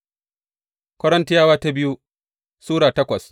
biyu Korintiyawa Sura takwas